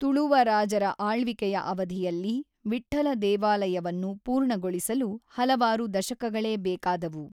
ತುಳುವ ರಾಜರ ಆಳ್ವಿಕೆಯ ಅವಧಿಯಲ್ಲಿ ವಿಠ್ಠಲ ದೇವಾಲಯವನ್ನು ಪೂರ್ಣಗೊಳಿಸಲು ಹಲವಾರು ದಶಕಗಳೇ ಬೇಕಾದವು.